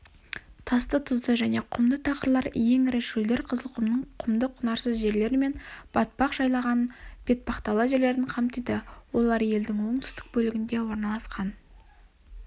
тасты тұзды және құмды тақырлар ең ірі шөлдер қызылқұмның құмды құнарсыз жерлері мен батпақ жайлаған бетпақдала жерлерін қамтиды олар елдің оңтүстік бөлігіне орналасқан